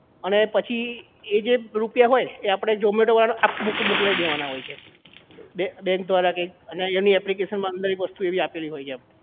અને પછી એ જે રૂપિયા હોય એ zomato વાળા ને આપી મોકલાઈ દેવાના હોય છે બેંક દ્વારા કઈ અને application માં એની એક વસ્તુ એવી એક આપેલી હોય છે